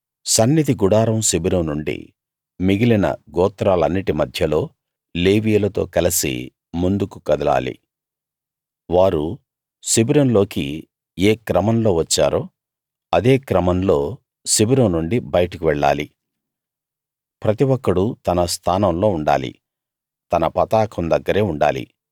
సన్నిధి గుడారం శిబిరం నుండి మిగిలిన గోత్రాలన్నిటి మధ్యలో లేవీయులతో కలసి ముందుకు కదలాలి వారు శిబిరంలోకి ఏ క్రమంలో వచ్చారో అదే క్రమంలో శిబిరం నుండి బయటకు వెళ్ళాలి ప్రతి ఒక్కడూ తన స్థానంలో ఉండాలి తన పతాకం దగ్గరే ఉండాలి